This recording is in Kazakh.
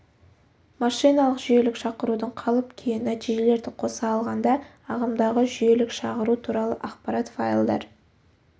машиналық жүйелік шақырудың қалып-күйі нәтижелерді қоса алғанда ағымдағы жүйелік шағыру туралы ақпарат файлдар